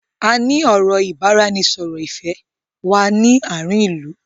Áà ni ọ̀rọ̀ ìbáraẹnisọọ̀rọ̀ Ifẹ̀ wá ní àárín ìlú.